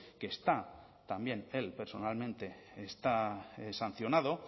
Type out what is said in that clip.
que está también él personalmente está sancionado